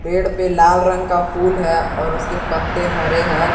पेड़ पे लाल रंग का फूल है और उसके पत्ते हरे हैं।